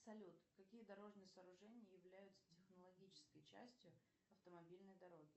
салют какие дорожные сооружения являются технологической частью автомобильной дороги